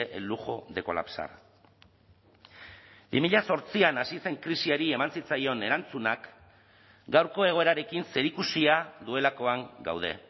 el lujo de colapsar bi mila zortzian hasi zen krisiari eman zitzaion erantzunak gaurko egoerarekin zerikusia duelakoan gaude